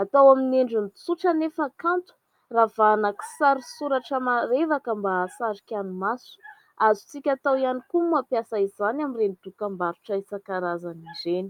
Atao amin'ny endriny tsotra anefa kanto, ravahana kisary sy soratra marevaka mba hahasarika ny maso. Azontsika atao ihany koa ny mampiasa izany amin'ireny dokam-barotra isankarazany ireny.